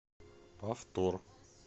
повтор